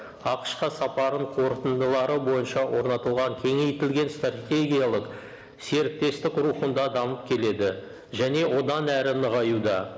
ақш қа сапарын қорытындылары бойынша орнатылған кеңейтілген стратегиялық серіктестік рухында дамып келеді және одан әрі нығаюда